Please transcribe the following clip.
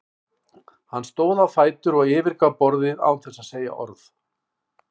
Hann stóð á fætur og yfirgaf borðið án þess að segja orð.